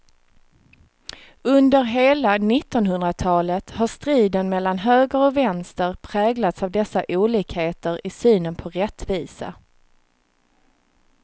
Under hela nittonhundratalet har striden mellan höger och vänster präglats av dessa olikheter i synen på rättvisa.